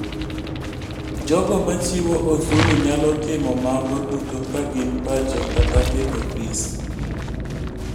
Jogo machiwo osuru nyalo timo mago duto ka gin pacho kata e ofis.